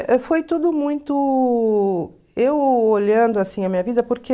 foi tudo muito... Eu olhando, assim, a minha vida, porque...